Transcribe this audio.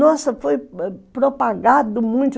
Nossa, foi propagado muito.